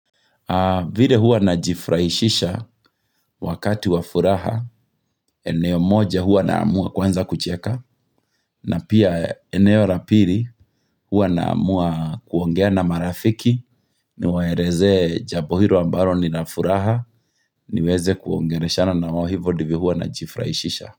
Vile huwa najifurahishisha wakati wa furaha, eneo moja hua naamua kwanza kucheka, na pia eneo la pili hua na amua kuongea na marafiki, niwaeleze jambo hilo ambalo ni na furaha, niweze kuongeleshana na wao hivo ndiyo huwa na jifurahishisha.